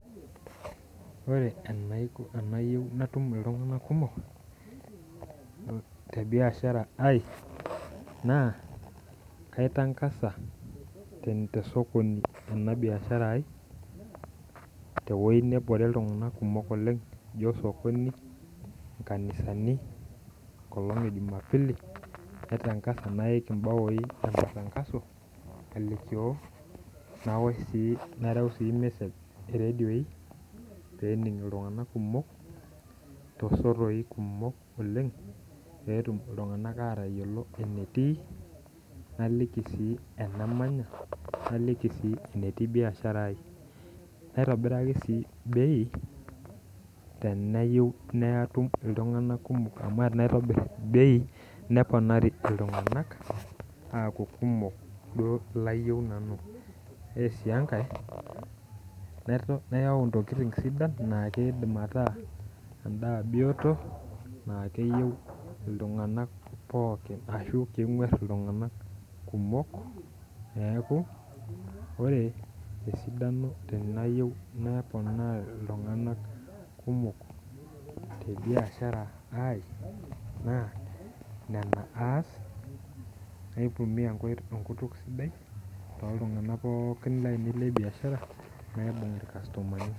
Ore tenayiou atum iltung'anak kumok, te biashara ai, naa kaitang'aza te sokoni ena biashara aai, te wueji nabore iltung'anak oleng' ijoiye sokoni, inkanisani enkolong' e jumapili, naitang'aza naik imbaoi e matangazo alikio, nareu sii mesej iredioi, pee ening' iltung'anak kumok, tosotoik kumok oleng', pee etum iltung'anak atayiolou enetii, naliki sii enamanya, naliki sii enetii biashara aai, naitobiraki sii bei teneyiou natum iltung'anak kumok amu ore tenaitobir bei, neponaari iltung'anak aaku kumok duo ilayiou nanu. Ore sii enkai, nayau intokitin sidain naa keidim ataa endaa bioto naa keyou iltung'anak pookin, anaa keng'war iltung'ana kumok. Neaku ore esidano tenayiou naponaa iltung'anak kumok te biashara ai, naa nena aas, naitumiya enkutuk sidai, too iltung'anak pookin lainei le biashara, naibung' ilbiasharani.